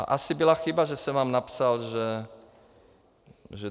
A asi byla chyba, že jsem vám napsal, že...